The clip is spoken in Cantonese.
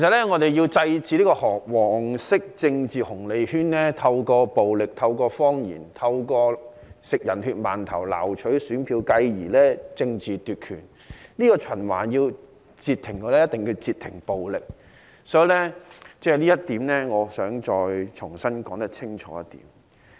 我們要制止"黃色政治紅利圈"透過暴力、謊言、吃"人血饅頭"撈取選票，繼而政治奪權，要截停這個循環，一定要截停暴力，我想重新說清楚這一點。